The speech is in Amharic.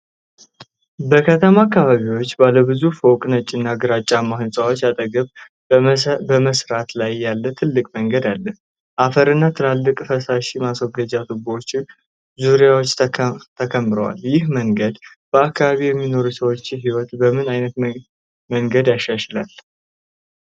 በከተማ አካባቢ፣ ባለ ብዙ ፎቅ ነጭና ግራጫማ ሕንፃዎች አጠገብ በመሰራት ላይ ያለ ትልቅ መንገድ አለ። አፈርና ትላልቅ የፍሳሽ ማስወገጃ ቱቦዎች በዙሪያው ተከምረዋል። ይህ መንገድ በአካባቢው የሚኖሩ ሰዎችን ሕይወት በምን ዓይነት መንገድ ያሻሽለዋል?